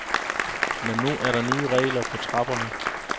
Men nu er der nye regler på trapperne.